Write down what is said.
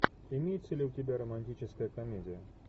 имеется ли у тебя романтическая комедия